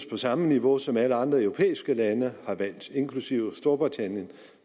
på samme niveau som alle andre europæiske lande har valgt inklusive storbritannien